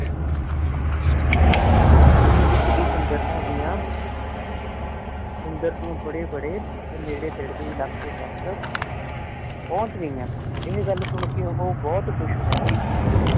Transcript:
ਕੀ ਉਸ ਦੀ ਸੁੰਦਰਤਾ ਦੀਆਂ ਬੜੇ ਬੜੇ ਤੇ ਨੇੜੇ ਤੇੜੇ ਦੇ ਇਲਾਕੇ ਤਕ ਪਹੁੰਚ ਗਈਆਂ ਏਹ ਗੱਲ ਸੁਨ ਕੀ ਉਹ ਬੁਹਤ ਖੁਸ਼ ਰਹਿੰਦੀ ਸੀਗੀ